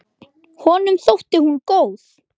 Honum þótti hún góð.